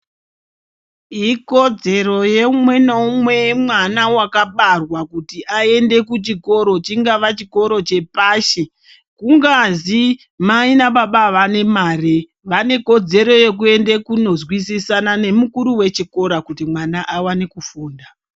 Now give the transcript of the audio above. Ikodzero yeumwe neumwe mwana wakabarwa kuti aende kuchikoro. Chingava chikoro chepashi, kungazi mai nana baba avane mare vane kodzero yekuende kunozwisisana nemukuru wechikora kuti mwana awane kufunda.